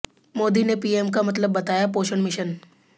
मोदी ने पीएम का मतलब बताया पोषण मिशन